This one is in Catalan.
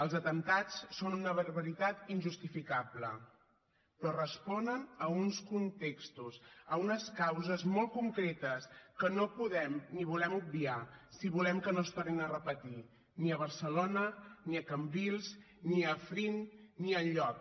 els atemptats són una barbaritat injustificable però responen a uns contextos a unes causes molt concretes que no podem ni volem obviar si volem que no es tornin a repetir ni a barcelona ni a cambrils ni a afrin ni enlloc